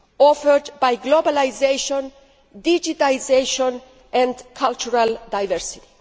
offered by globalisation, digitisation and cultural diversity.